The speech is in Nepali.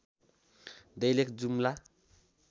दैलेख जुम्ला